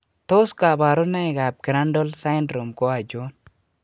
Tos kabarunoik ab Crandall syndrome ko achon?